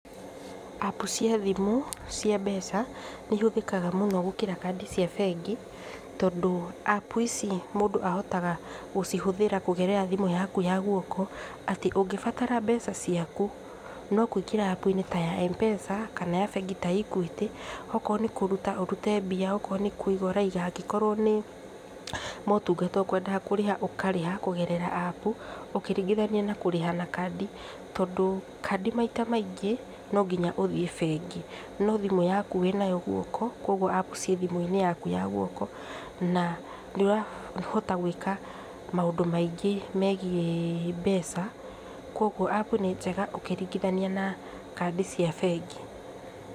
Apu cia thimũ, cia mbeca, nĩ ihothĩkaga mũno gũkĩra kandi cia bengi, tondũ Apu ici mũndũ ahotaga gũcihũthĩra kũgerera thimũ yaku ya guoko, atĩ ũngĩbatara mbeca ciaku, no kũingĩra Apu-inĩ ya M-pesa, kana ya bengi ta ya Equity, okoo nĩ kũruta ũrute mbia, okoo nĩ kũiga ũraiga, angĩkorwo nĩ motungata ũkwendaga kũrĩha ũkarĩha, kũgerera Apu, ũkĩringithania na kũrĩha na kandi, tondũ kandi maita maingĩ nonginya ũthiĩ bengi, no thimũ yaku wĩnayo guoko, kwoguo Apu cia thimũ-inĩ yaku ya guoko, na nĩũrahota gwĩka maũndũ maingĩ megiĩ mbeca, kwoguo Apu nĩ njega, ũkĩringithania na kandi cia bengi.